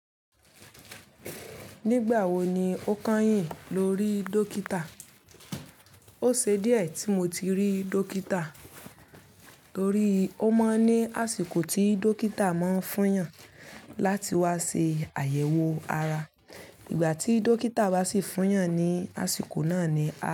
Nígbà wo ni o kányìn lorí dókítà? Ó ṣe díẹ̀ tí mo ti rí dókítà torí ó máa ń ní àsìkò tí dókítà máa ń fúyàn láti wá ṣe àyẹ̀wò ara. Ìgbà tí dókítà bá sì fúyàn ni àsìkò náà ni a.